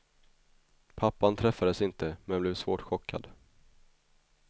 Pappan träffades inte, men blev svårt chockad.